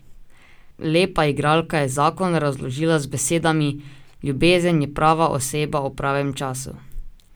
Lepa igralka je zakon razložila z besedami: 'Ljubezen je prava oseba ob pravem času.